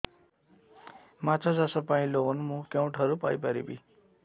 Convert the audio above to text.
ମାଛ ଚାଷ ପାଇଁ ଲୋନ୍ ମୁଁ କେଉଁଠାରୁ ପାଇପାରିବି